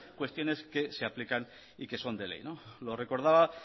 cuestiones que se aplican y que son de ley lo recordaba